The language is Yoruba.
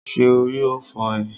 Ṣé orí ò fọ́ ee?